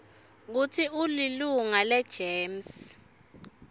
kutsi ulilunga legems